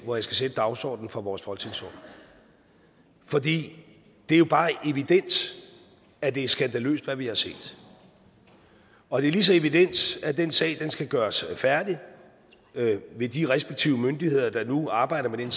hvor jeg skal sætte dagsordenen for vores folketingsår for det er jo bare evident at det er skandaløst hvad vi har set og det er lige så evident at den sag skal gøres færdig ved de respektive myndigheder der nu arbejder med den